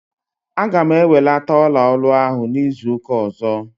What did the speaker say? Aga m ewelata ọla olu ahụ n'izuụka ọzọ.